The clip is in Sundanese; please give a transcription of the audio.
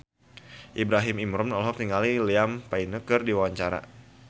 Ibrahim Imran olohok ningali Liam Payne keur diwawancara